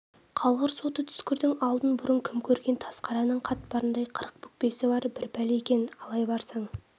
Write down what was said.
қалғыр соты түскірдің алдын бұрын кім көрген тазқарынның қатпарындай қырық бүкпесі бар бір пәле екен алай барсаң